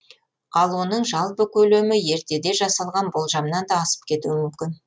ал оның жалпы көлемі ертеде жасалған болжамнан да асып кетуі мүмкін